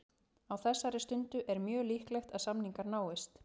Á þessari stundu er mjög líklegt að samningar náist.